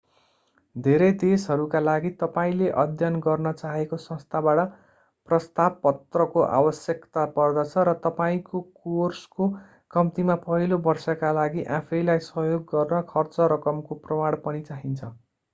धेरै देशहरूका लागि तपाईले अध्ययन गर्न चाहेको संस्थाबाट प्रस्ताव पत्रको आवश्यकता पर्दछ र तपाईँको कोर्सको कम्तिमा पहिलो वर्षका लागि आफैंलाई सहयोग गर्न खर्च रकमको प्रमाण पनि चाहिन्छ